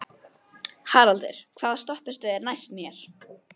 Haraldur, hvaða stoppistöð er næst mér?